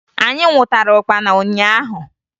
Anyị nwụtara ụkpana ụnyaahụ